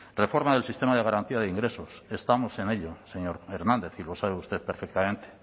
reforma del sistema de garantía de ingresos estamos en ello señor hernández y lo sabe usted perfectamente